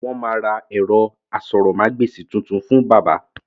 Wọn máa ra ẹ̀rọ aṣórómagbesìn tuntun fún bàbá